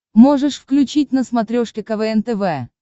можешь включить на смотрешке квн тв